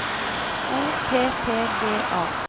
O P P G A